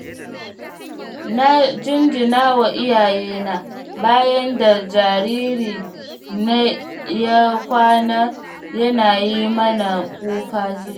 Na jinjinawa iyayena, bayan da jariri na ya kwana yana yi mana kuka jiya.